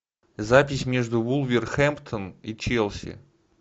запись между вулверхэмптон и челси